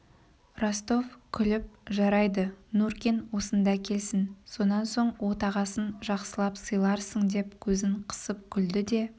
ростов күліп жарайды нуркин осында келсін сонан соң отағасын жақсылап сыйларсың деп көзін қысып күлді де